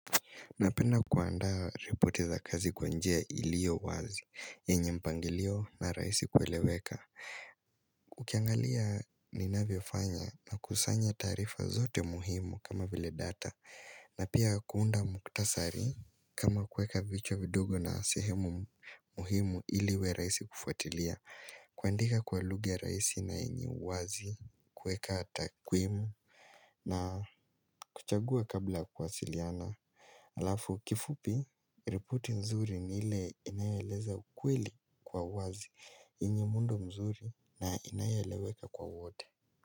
Napenda kuandaa ripoti za kazi kwa njia ilio wazi, yenye mpangilio na raisi kueleweka Ukiangalia ninavyofanya nakusanya taarifa zote muhimu kama vile data na pia kuunda muktasari kama kueka vichwa vidogo na sehemu muhimu ili iwe raisi kufuatilia kuandika kwa lugha raisi na yenye uwazi, kuweka takwimu na kuchagua kabla kwasiliana Alafu kifupi, ripoti nzuri ni ile inayoeleza ukweli kwa wazi yenye muundo mzuri na inayeleweka kwa wote.